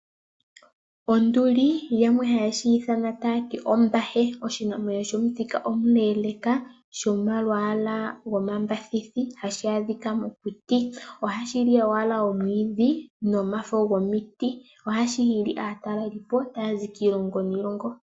Onduli yamwe haye shi ithana ombahe. Oshinamwenyo shomuthika omuleleka shomalwaala omambithithi, hashi adhika mokuti . Ohashi li owala omwiidhi nomafo gomiti. Ohashi hili aatelelipo taya zi kiilongo niilongo.